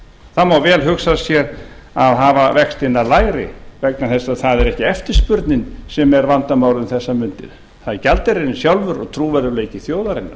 það má vel hugsa sér að hafa vextina lægri vegna þess að það er ekki eftirspurnin sem er vandamál um þessar mundir það er gjaldeyririnn sjálfur og trúverðugleiki þjóðarinnar